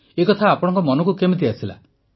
ଏକଥା ଆପଣଙ୍କ ମନକୁ କେମିତି ଆସିଲା